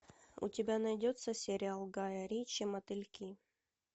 у тебя найдется сериал гая ричи мотыльки